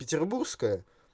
петербургская